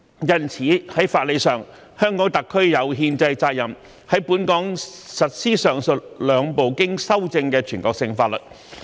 因此，在法理上，香港特區有憲制責任在本港實施上述兩部經修正的全國性法律。